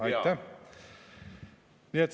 Aitäh!